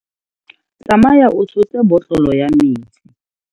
Tsamaya o tshotse botlolo ya metsi.